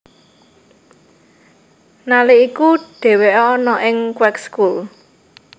Nalik iku dheweke ana ing Kweekschool